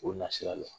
O nasira la